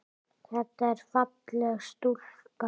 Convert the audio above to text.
Þetta er falleg stúlka.